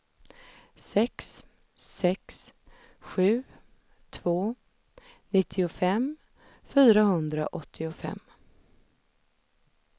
sex sex sju två nittiofem fyrahundraåttiofem